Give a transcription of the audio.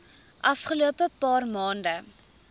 afgelope paar maande